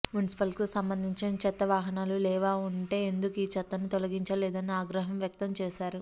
మున్సిపల్కు సంబంధించిన చెత్త వాహనాలు లేవా ఉంటే ఎందుకు ఈ చెత్తను తొలగించే లేదని ఆగ్రహం వ్యక్తం చేశారు